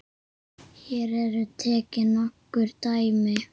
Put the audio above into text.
Hér eru tekin nokkur dæmi